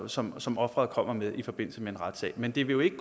som som offeret kommer med i forbindelse med en retssag men det vil jo ikke